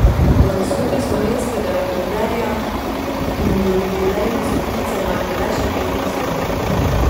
Po zaslugi slovenskega rekorderja, ki mu do jubilejne stotice manjka le še pet nastopov.